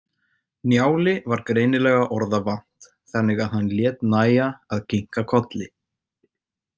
Njáli var greinilega orða vant þannig að hann lét nægja að kinka kolli.